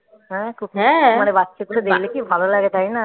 হ্যাঁ মানে বাচ্চা গুলো দেখলে কি ভালো লাগে তাই না